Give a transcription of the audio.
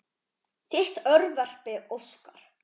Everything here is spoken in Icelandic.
Þitt örverpi Óskar.